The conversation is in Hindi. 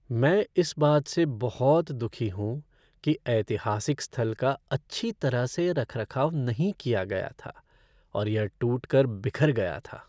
मैं इस बात से बहुत दुखी हूँ कि ऐतिहासिक स्थल का अच्छी तरह से रखरखाव नहीं किया गया था और यह टूट कर बिखर गया था।